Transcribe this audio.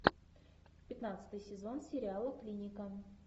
пятнадцатый сезон сериала клиника